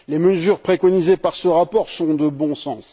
Les mesures préconisées par ce rapport sont de bon sens.